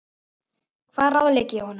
Hvað ráðlegg ég honum?